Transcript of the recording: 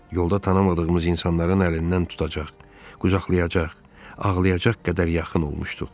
Yolda tanımadığımız insanların əlindən tutacaq, qucaqlayacaq, ağlayacaq qədər yaxın olmuşduq.